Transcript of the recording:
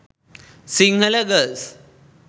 sinhala girls